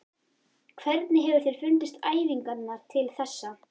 Hvernig hefur þér fundist æfingarnar til þessa?